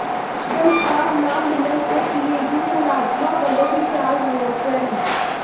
ਤਨਖਾਹ ਨਾ ਮਿਲਣ ਤੇ ਪੀਏਯੂ ਮੁਲਾਜਮਾਂ ਵੱਲੋਂ ਵਿਸ਼ਾਲ ਰੋਸ ਰੈਲੀ